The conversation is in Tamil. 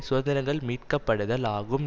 சுதந்திரங்கள்மீட்கப்படுதல் ஆகும்